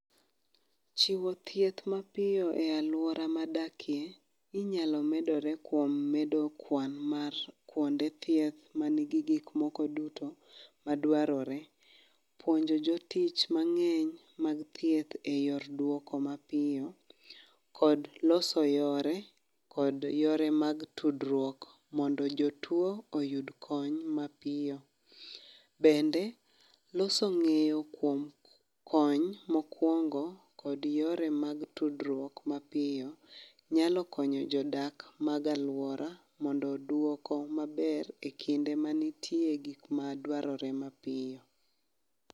Chiwo thieth mapiyo e alwora madakie, inyalo medore kuom medo kwan mar kuonde thieth, manigi gik moko duto madwarore. Puonjo jotich mangény mag thieth e yor duoko mapiyo, kod loso yore, kod yore mag tudruok mondo jotwoo oyud kony mapiyo. Bende, loso ngéyo kuom kony mokwongo, kod yore mag tudruok mapiyo nyalo konyo jodak mag alwora mondo duoko maber e kinde manitie gik madwarore mapiyo.